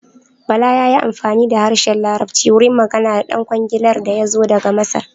Bala ya yi amfani da harshen larabci wurin magana da ɗan kwangilar da yazo daga Masar.